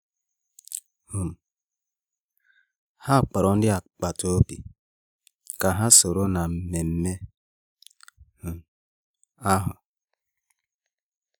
um Há kpọ̀rọ̀ ndị agbata obi kà há sòró nà-émé ememe um ahụ.